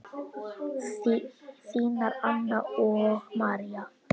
Þínar Anna og María.